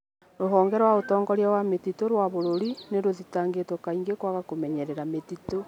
Rũhonge rwa Ũtongoria wa Mĩtitũ rwa Bũrũri nĩ rũthitangitwo kaingĩ kwaga kũmenyera mĩtitũ